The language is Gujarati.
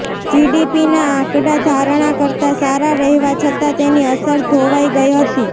જીડીપીનાં આકડાં ધારણાં કરતાં સારા રહેવા છતાં તેની અસર ધોવાઈ ગઈ હતી